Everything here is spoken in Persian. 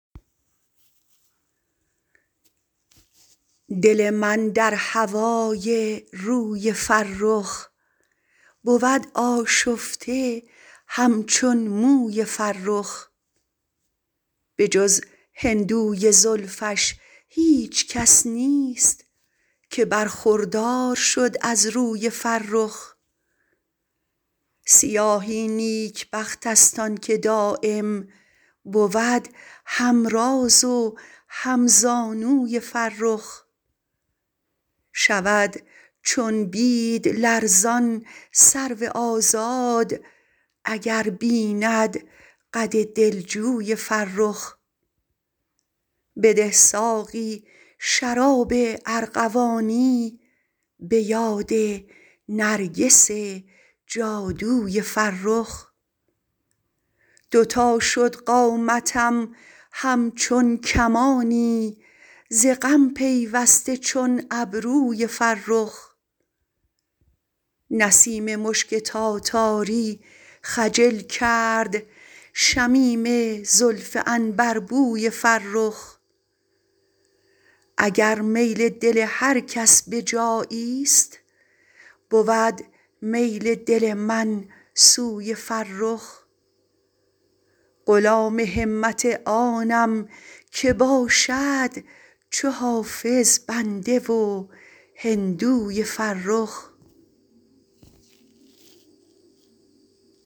دل من در هوای روی فرخ بود آشفته همچون موی فرخ به جز هندوی زلفش هیچ کس نیست که برخوردار شد از روی فرخ سیاهی نیکبخت است آن که دایم بود هم راز و هم زانوی فرخ شود چون بید لرزان سرو آزاد اگر بیند قد دلجوی فرخ بده ساقی شراب ارغوانی به یاد نرگس جادوی فرخ دو تا شد قامتم همچون کمانی ز غم پیوسته چون ابروی فرخ نسیم مشک تاتاری خجل کرد شمیم زلف عنبربوی فرخ اگر میل دل هر کس به جایی ست بود میل دل من سوی فرخ غلام همت آنم که باشد چو حافظ بنده و هندوی فرخ